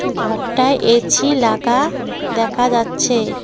ঘরটা এছি লাগা দেখা যাচ্ছে।